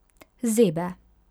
Zebe.